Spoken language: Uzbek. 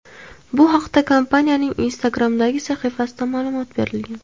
Bu haqda kompaniyaning Instagram’dagi sahifasida ma’lumot berilgan .